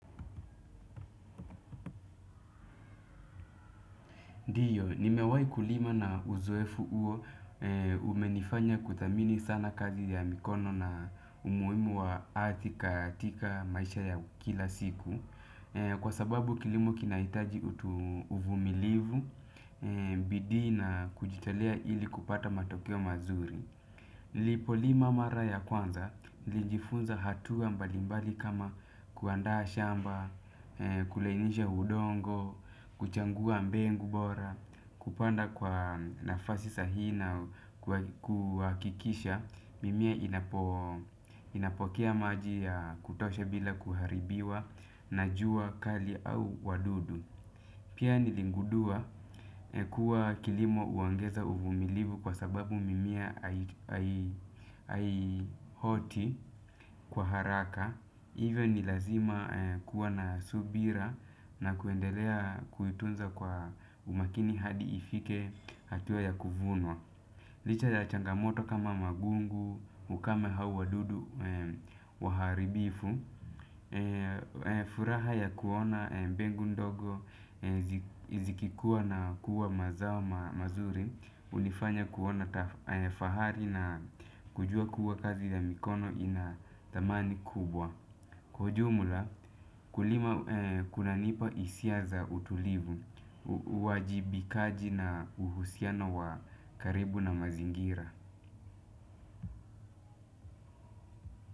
Ndio, nimewahi kulima na uzoefu huo umenifanya kuthamini sana kazi ya mikono na umuhimu wa ardhi katika maisha ya kila siku. Kwa sababu kilimo kinahitaji utu uvumilivu, bidii na kujitolea ili kupata matokeo mazuri. Nilipo lima mara ya kwanza, nilijifunza hatua mbalimbali kama kuandaa shamba, kulainisha udongo, kuchangua mbengu bora. Kupanda kwa nafasi sahihi na kuhakikisha mimea inapokea maji ya kutosha bila kuharibiwa. Na jua kali au wadudu pia niligundua kuwa kilimo huongeza uvumilivu kwa sababu mimea haioti kwa haraka. Iwe ni lazima kuwa na subira. Na kuendelea kuitunza kwa umakini hadi ifike hatua ya kuvunwa licha ya changamoto kama magugu, ukame au wadudu, waharibifu furaha ya kuona mbegu ndogo, zikikua na kuwa mazao mazuri hunifanya kuona fahari na kujua kuwa kazi ya mikono ina dhamani kubwa. Kwa ujumula, kulima kunanipa hisia za utulivu, uwajibikaji na uhusiano wa karibu na mazingira.